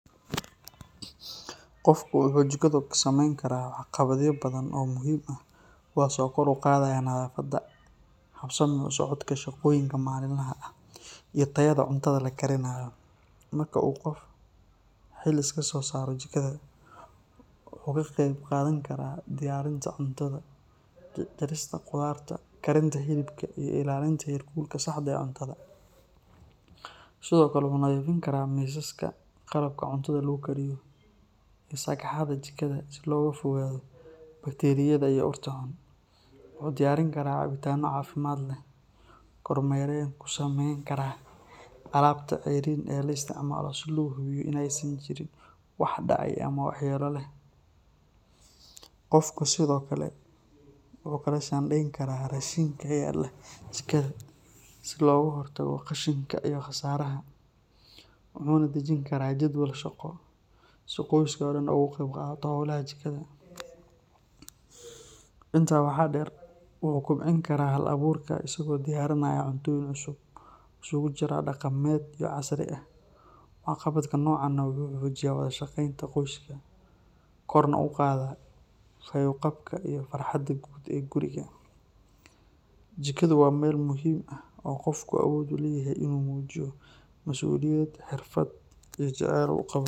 Qofku wuxuu jikada ka samayn karaa waxqabadyo badan oo muhiim ah kuwaas oo kor u qaadaya nadaafadda, habsami u socodka shaqooyinka maalinlaha ah iyo tayada cuntada la kariyo. Marka uu qofku xil iska saaro jikada, wuxuu ka qayb qaadan karaa diyaarinta cuntada, jarista khudaarta, karinta hilibka, iyo ilaalinta heerkulka saxda ah ee cuntada. Sidoo kale, wuxuu nadiifin karaa miisaska, qalabka cuntada lagu kariyo, iyo sagxadda jikada si looga fogaado bakteeriyada iyo urta xun. Wuxuu diyaarin karaa cabbitaanno caafimaad leh, kormeerna ku samayn karaa alaabta ceeriin ee la isticmaalayo, si loo hubiyo in aysan jirin wax dhacay ama waxyeello leh. Qofku sidoo kale wuxuu kala shaandhayn karaa raashinka yaala jikada si looga hortago qashinka iyo khasaaraha, wuxuuna dejin karaa jadwal shaqo si qoyska oo dhan uga qeyb qaato howlaha jikada. Intaa waxaa dheer, wuxuu kobcin karaa hal-abuurka isagoo diyaarinaya cuntooyin cusub oo isugu jira dhaqameed iyo casri ah. Waxqabadka noocan ah wuxuu xoojiyaa wada shaqaynta qoyska, korna u qaadaa fayo-qabka iyo farxadda guud ee guriga. Jikadu waa meel muhiim ah oo qofku awood u leeyahay inuu muujiyo masuuliyad, xirfad, iyo jacayl uu u qabo.